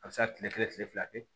A bɛ se ka kile kelen kile fila kɛ